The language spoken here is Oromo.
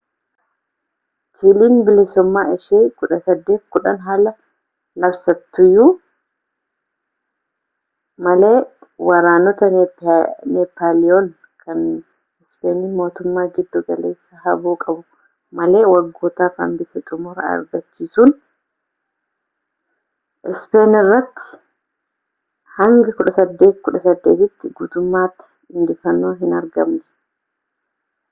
chiiliin bilisumma ishee 1810 haa labsattuyyuu malee waraanota neepaaliyoon kan ispeeniin mootummaa giddu galeessaa haboo qabu malee waggootaaf hanbise xumura argachiisuun ispeen irratti hanga 1818 tti guutummaatti injifannoon hin argamne